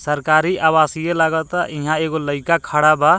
सरकारी आवास इ लागता इहाँ एगो लईका खड़ा बा।